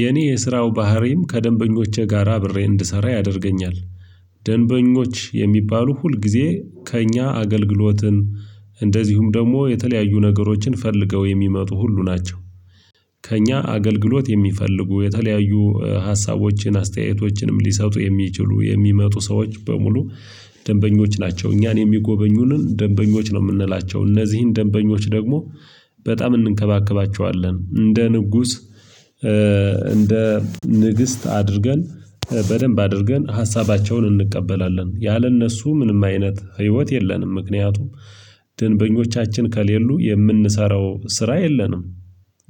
የኔ የስራው ባህሪም ከደንበኞቼ ጋራ አብሬ እንድሰራ ያደርገኛል ደንበኞች የሚባሉ ሁልጊዜ ከእኛ አገልግሎትን እንደዚሁም ደግሞ የተለያዩ ነገሮችን ፈልገው የሚመጡ ሁሉ ናቸው። ከእኛ አገልግሎት የሚፈልጉ የተለያዩ ሀሳቦችን አስተያየቶችንም ሊሰጡ የሚችሉ የሚመጡ ሰዎች በሙሉ ደንበኞች ናቸው። እኛን የሚጎበኙንን ደንበኞች ነው የምንላቸው እነዚህን ደንበኞች ደግሞ በጣም እንንከባከባቸዋለን እንደ ንጉስ። እንደ ንግስት አድርገን በደንብ አድርገን ሀሳባቸውን እንቀበላለን ያለ እነሱ ምንም አይነት ህይወት የለንም። ምክንያቱም ድንበኞቻችን ከሌሉ የምንሰራው ስራ የለንም።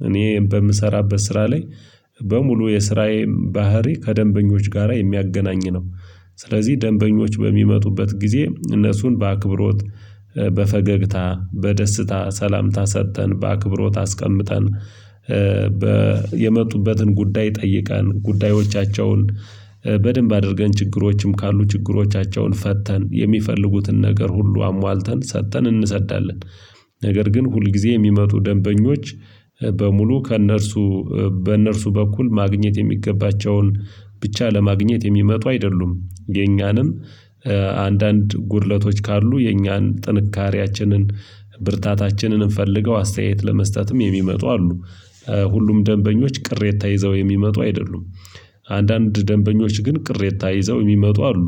እኔ በምሰራበት ስራ ላይ በሙሉ የስራዬን ባህሪ ከደንበኞች ጋራ የሚያገናኝ ነው። ስለዚህ ደንበኞች በሚመጡበት ጊዜ እነሱን በአክብሮት በፈገግታ በደስታ ሰላምታ ሰጥተን በአክብሮት አስቀምጠን። የመጡበትን ጉዳይ ጠይቃን ጉዳዮቻቸውን በደንብ አድርገን ችግሮችም ካሉ ችግሮቻቸውን ፈተን የሚፈልጉትን ነገር ሁሉ አሟልተን ሰጥተን እንሰዳለን። ነገር ግን ሁልጊዜ የሚመጡ ደንበኞች በሙሉ ከእነርሱ በእነርሱ በኩል ማግኘት የሚገባቸውን ብቻ ለማግኘት የሚመጡ አይደሉም የኛንም አንዳንድ ጉድለቶች ካሉ የኛን ጥንካሬያችንን ብርታታችንን ፈልገው አስተያየት ለመስጠትም የሚመጡ አሉ። ሁሉም ደንበኞች ቅሬታ ይዘው የሚመጡ አይደሉም። አንዳንድ ደንበኞች ግን ቅሬታ ይዘው የሚመጡ አሉ።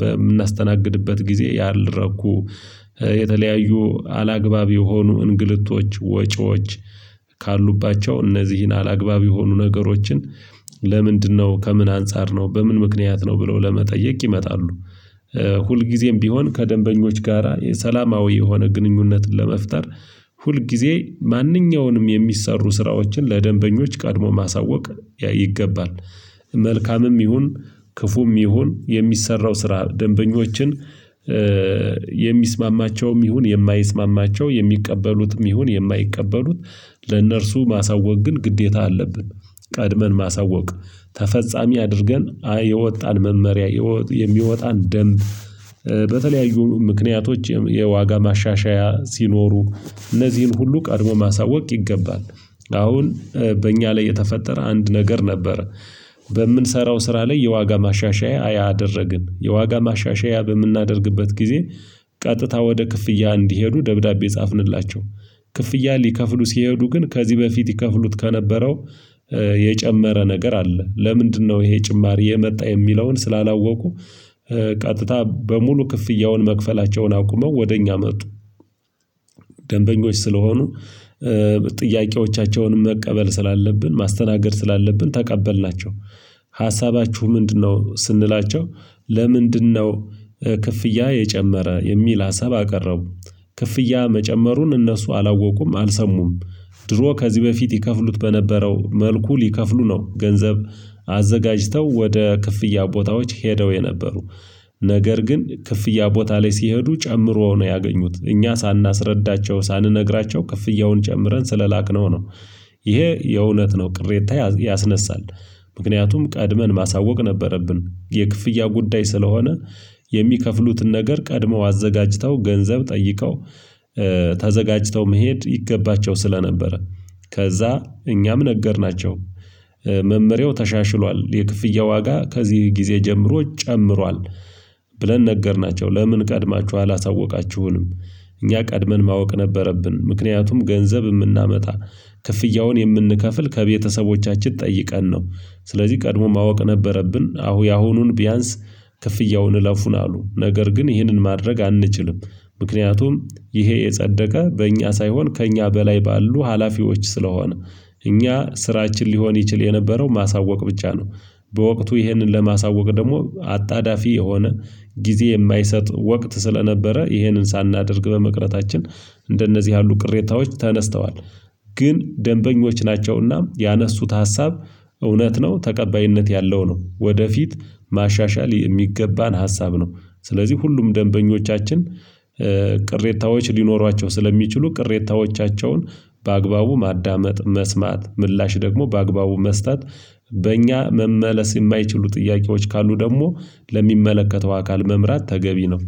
በምናስተናግድበት ጊዜ ያልረኩ የተለያዩ አላግባብ የሆኑ እንግልቶች ወጪዎች ካሉባቸው እነዚህን አላግባብ የሆኑ ነገሮችን ለምንድነው ከምን አንፃር ነው በምን ምክንያት ነው ብለው ለመጠየቅ ይመጣሉ? ሁልጊዜም ቢሆን ከደንበኞች ጋራ ሰላማዊ የሆነ ግንኙነትን ለመፍጠር ሁልጊዜ ማንኛውንም የሚሰሩ ስራዎችን ለደንበኞች ቀድሞ ማሳወቅ ይገባል። መልካምም ይሁን ክፉም ይሁን የሚሰራው ስራ ደንበኞችን የሚስማማቸውም ይሁን የማይስማማቸው የሚቀበሉትም ይሁን የማይቀበሉት ለእነርሱ ማሳወቅ ግን ግዴታ አለብን። ቀድመን ማሳወቅ ተፈጻሚ አድርገን የወጣን መመሪያ የሚወጣን ደንብ በተለያዩ ምክንያቶች የዋጋ ማሻሻያ ሲኖሩ እነዚህን ሁሉ ቀድሞ ማሳወቅ ይገባል። አሁን በእኛ ላይ የተፈጠረ አንድ ነገር ነበር። በምንሰራው ስራ ላይ የዋጋ ማሻሻያ አደረግን የዋጋ ማሻሻያ በምናደርግበት ጊዜ ቀጥታ ወደ ክፍያ እንዲሄዱ ደብዳቤ ጻፍንላቸው ክፍያ ሊከፍሉ ሲሄዱ ግን ከዚህ በፊት ይከፍሉት ከነበረው የጨመረ ነገር አለ ለምንድነው ይሄ ጭማሪ የመጣ የሚለውን ስላላወቁ? ቀጥታ በሙሉ ክፍያውን መክፈላቸውን አቁመው ወደ እኛ መጡ። ደንበኞች ስለሆኑ ጥያቄዎቻቸውንም መቀበል ስላለብን ማስተናገድ ስላለብን ተቀበልናቸው። ሀሳባችሁ ምንድነው ስንላቸው? ለምንድነው ክፍያ የጨመረ የሚል አሰብ አቀረቡ? ክፍያ መጨመሩን እነሱ አላወቁም አልሰሙም። ድሮ ከዚህ በፊት ይከፍሉት በነበረው መልኩ ሊከፍሉ ነው ገንዘብ አዘጋጅተው ወደ ክፍያ ቦታዎች ሄደው የነበሩ ነገር ግን ክፍያ ቦታ ላይ ሲሄዱ ጨምሮ ነው ያገኙት እኛ ሳናስረዳቸው ሳንነግራቸው ክፍያውን ጨምረን ስለላክነው ነው። ይሄ የእውነት ነው ቅሬታ ያስነሳል። ምክንያቱም ቀድመን ማሳወቅ ነበረብን የክፍያ ጉዳይ ስለሆነ የሚከፍሉትን ነገር ቀድመው አዘጋጅተው ገንዘብ ጠይቀው። ተዘጋጅተው መሄድ ይገባቸው ስለነበረ ከዛ እኛም ነገርናቸው መመሪያው ተሻሽሏል የክፍያ ዋጋ ከዚህ ጊዜ ጀምሮ ጨምሯል። ብለን ነገርናቸው ለምን ቀድማችሁ አላሳወቃችሁንም? እኛ ቀድመን ማወቅ ነበረብን ምክንያቱም ገንዘብ የምናመጣ ክፍያውን የምንከፍል ከቤተሰቦቻችን ጠይቀን ነው። ስለዚህ ቀድሞ ማወቅ ነበረብን አሁ ያሁኑን ቢያንስ ክፍያውን እለፉን አሉ ነገር ግን ግን ይህንን ማድረግ አንችልም። ምክንያቱም ይሄ የጸደቀ በእኛ ሳይሆን ከእኛ በላይ ባሉ ሀላፊዎች ስለሆነ። እኛ ስራችን ሊሆን ይችል የነበረው ማሳወቅ ብቻ ነው። በወቅቱ ይህንን ለማሳወቅ ደግሞ አጣዳፊ የሆነ ጊዜ የማይሰጥ ወቅት ስለነበረ ይሄንን ሳናደርግ በመቅረታችን እንደነዚህ ያሉ ቅሬታዎች ተነስተዋል። ግን ደንበኞች ናቸውና ያነሱት ሀሳብ እውነት ነው ተቀባይነት ያለው ነው ወደፊት ማሻሻል የሚገባን ሀሳብ ነው። ስለዚህ ሁሉም ደንበኞቻችን ቅሬታዎች ሊኖሯቸው ስለሚችሉ ቅሬታዎቻቸውን በአግባቡ ማዳመጥ መስማት ምላሽ ደግሞ በአግባቡ መስጠት። በእኛ መመለስ የማይችሉ ጥያቄዎች ካሉ ደግሞ ለሚመለከተው አካል መምራት ተገቢ ነው።